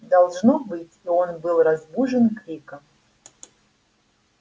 должно быть и он был разбужен криком